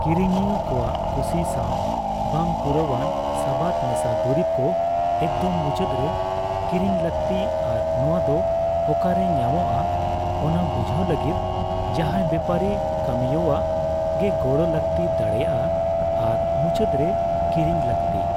ᱠᱤᱨᱤᱧᱤᱭᱟᱹ ᱠᱚᱣᱟᱜ ᱠᱩᱥᱤ ᱥᱟᱣ ᱵᱟᱝᱯᱩᱨᱟᱹᱣᱟᱱ ᱥᱟᱵᱟᱫ ᱢᱮᱥᱟ ᱫᱩᱨᱤᱵ ᱠᱚ ᱮᱠᱫᱚᱢ ᱢᱩᱪᱟᱹᱫ ᱨᱮ ᱠᱤᱨᱤᱧ ᱞᱟᱹᱠᱛᱤ ᱟᱨ ᱱᱚᱣᱟᱫᱚ ᱚᱠᱟᱨᱮ ᱧᱟᱢᱚᱜᱼᱟ ᱚᱱᱟ ᱵᱩᱡᱷᱟᱹᱣ ᱞᱟᱹᱜᱤᱫ ᱡᱟᱦᱟᱭ ᱵᱮᱯᱟᱨᱤ ᱠᱟᱹᱢᱤᱭᱟᱹᱣᱟᱜ ᱜᱮ ᱜᱚᱲᱚ ᱞᱟᱹᱠᱛᱤ ᱫᱟᱲᱮᱭᱟᱜᱼᱟ ᱟᱨ ᱢᱩᱪᱟᱹᱫ ᱨᱮ ᱠᱤᱨᱤᱧ ᱞᱟᱹᱠᱛᱤ ᱾